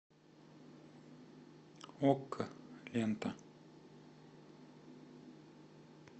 окко лента